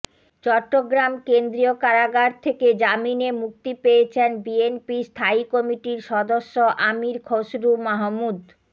চট্টগ্রাম কেন্দ্রীয় কারাগার থেকে জামিনে মুক্তি পেয়েছেন বিএনপির স্থায়ী কমিটির সদস্য আমীর খসরু মাহমুদ